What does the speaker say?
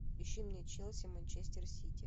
ищи мне челси манчестер сити